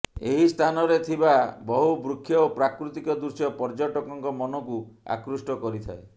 ଏହି ସ୍ଥାନରେ ଥିବା ବହୁ ବୃକ୍ଷ ଓ ପ୍ରାକୃତିକ ଦୃଶ୍ୟ ପର୍ୟ୍ୟଟକଙ୍କ ମନକୁ ଆକୃଷ୍ଟ କରିଥାଏ